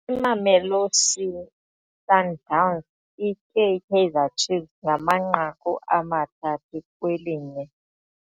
Imamelosi Sundowns itye iKaizer Chiefs ngamanqaku amathathu kwelinye.